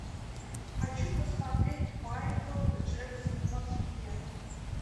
хочу посмотреть майкл джексон в москве